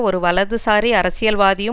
ஒரு வலதுசாரி அரசியல்வாதியும்